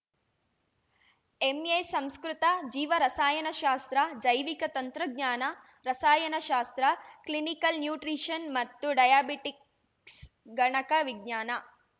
MA Sanskrit ಜೀವ ರಸಾಯನಶಾಸ್ತ್ರ ಜೈವಿಕ ತಂತ್ರಜ್ಞಾನ ರಸಾಯನಶಾಸ್ತ್ರ ಕ್ಲಿನಿಕಲ್‌ ನ್ಯೂಟ್ರಿಷನ್‌ ಮತ್ತು ಡಯಾಬಿಟಿಕ್ಸ್‌ ಗಣಕ ವಿಜ್ಞಾನ